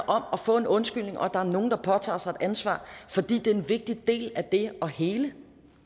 om at få en undskyldning og at der er nogen der påtager sig et ansvar fordi det er en vigtig del af det at hele